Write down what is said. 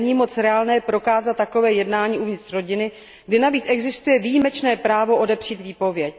Není moc reálné prokázat takové jednání uvnitř rodiny, kde navíc existuje výjimečné právo odepřít výpověď.